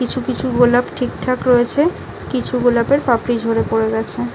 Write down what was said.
কিছু কিছু গোলাপ ঠিকঠাক রয়েছে কিছু গোলাপের পাপড়ি ঝরে পড়ে গেছে ।